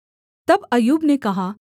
तब अय्यूब ने कहा